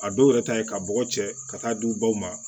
A dɔw yɛrɛ ta ye ka bɔgɔ cɛ ka taa di u baw ma